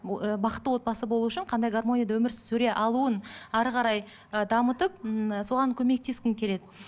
бақытты отбасы болу үшін қандай гармонияда өмір сүре алуын әрі қарай ы дамытып ммм соған көмектескім келеді